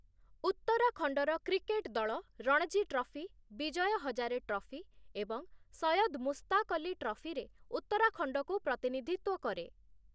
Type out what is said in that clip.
ଉତ୍ତରାଖଣ୍ଡର କ୍ରିକେଟ୍ ଦଳ Ranji trophy, Vijay Hazare trophy ଏବଂ ସୟଦ ମୁସ୍ତାକ ଅଲି ଟ୍ରଫିରେ ଉତ୍ତରାଖଣ୍ଡକୁ ପ୍ରତିନିଧିତ୍ୱ କରେ ।